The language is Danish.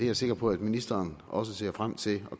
er sikker på at ministeren også ser frem til